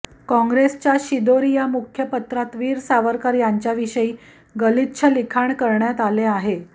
काँग्रेसच्या शिदोरी या मुखपत्रात वीर सावरकर यांच्याविषयी गलिच्छ लिखाण करण्यात आले आहे